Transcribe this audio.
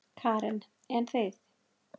Karen: En þið?